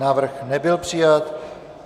Návrh nebyl přijat.